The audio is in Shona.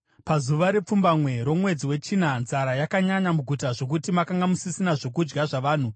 Pazuva repfumbamwe romwedzi wechina nzara yakanyanya muguta zvokuti makanga musisina zvokudya zvavanhu.